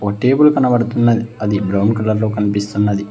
ఒక టేబుల్ కనబడుతున్నది అది బ్రౌన్ కలర్ లో కనిపిస్తున్నది.